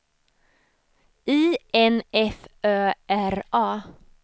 I N F Ö R A